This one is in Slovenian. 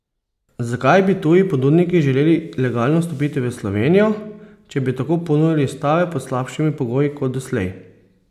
Zakaj bi tuji ponudniki želeli legalno vstopiti v Slovenijo, če bi tako ponujali stave pod slabšimi pogoji kot doslej?